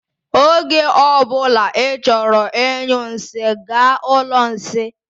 Oge ọbula I chọrọ ịnyụ nsị, gaa ụlọ nsị.